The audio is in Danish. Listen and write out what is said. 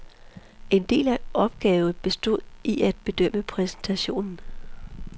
En del af opgave bestod i at bedømme præstationen.